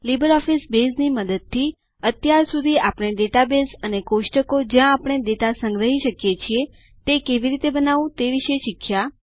LibreOffice બેઝની મદદથી અત્યાર સુધી આપણે ડેટાબેઝ અને કોષ્ટકો જ્યાં આપણે ડેટા સંગ્રહી શકીએ તે કેવી રીતે બનાવવું તે વિશે શીખ્યા